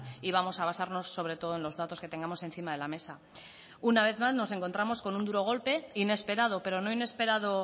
y vamos a basarnos sobre todo en los datos que tengamos encima de la mesa una vez más nos encontramos con un duro golpe inesperado pero no inesperado